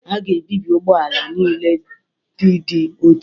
A ga-ebibi ụgbọ ala niile ndị dị ochie